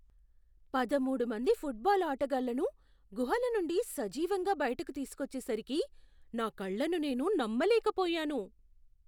పదమూడు మంది ఫుట్బాల్ ఆటగాళ్లను గుహల నుండి సజీవంగా బయటకు తీసుకొచ్చేసరికి నా కళ్ళను నేను నమ్మలేకపోయాను.